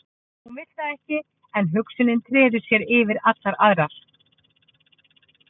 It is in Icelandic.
Hún vill það ekki en hugsunin treður sér yfir allar aðrar.